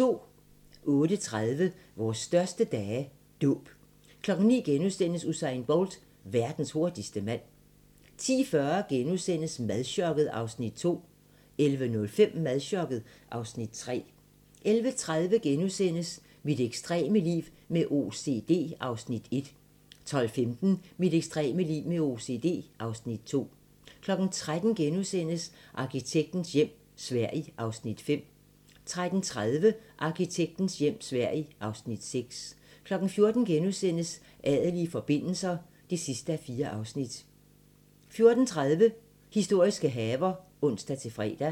08:30: Vores største dage – Dåb 09:00: Usain Bolt - verdens hurtigste mand * 10:40: Madchokket (Afs. 2)* 11:05: Madchokket (Afs. 3) 11:30: Mit ekstreme liv med OCD (Afs. 1)* 12:15: Mit ekstreme liv med OCD (Afs. 2) 13:00: Arkitektens hjem - Sverige (Afs. 5)* 13:30: Arkitektens hjem - Sverige (Afs. 6) 14:00: Adelige forbindelser (4:4)* 14:30: Historiske haver (ons-fre)